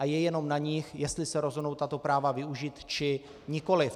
A je jenom na nich, jestli se rozhodnou tato práva využít, či nikoliv.